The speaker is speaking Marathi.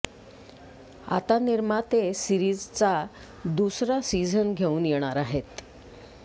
आता निर्माते सिरीजचा दुसरा सीझन घेऊन येणार आहेत